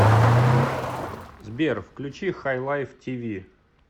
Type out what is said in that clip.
сбер включи хайлайв ти ви